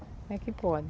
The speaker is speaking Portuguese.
Como é que pode?